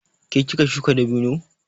Ke kika shuka dabino?